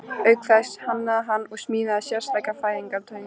Auk þess hannaði hann og smíðaði sérstaka fæðingartöng.